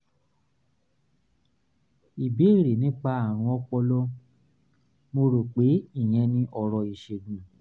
ìbéèrè nípa àrùn ọpọlọ; mo rò pé ìyẹn ni ọ̀rọ̀ ìṣègùn